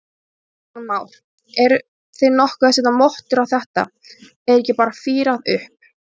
Kristján Már: Eruð þið nokkuð að setja mottur á þetta, er ekki bara fírað upp?